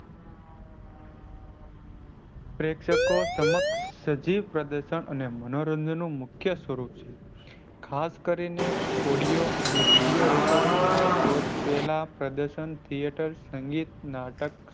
પ્રેક્ષકો સમક્ષ સજીવ પ્રદતન અને મનોરંજન નું મુખ્ય સ્વરૂપ છે. ખાસ કરીને audio અને video, recording ના શોધ પેલા પ્રદર્શન theatre અંગે નાટક,